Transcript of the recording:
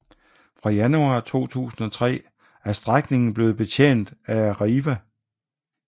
Fra januar 2003 er strækningen blevet betjent af Arriva